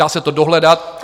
Dá se to dohledat.